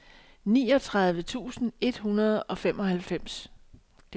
niogtredive tusind et hundrede og halvfems